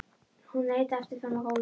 Hún leit aftur fram á gólfið.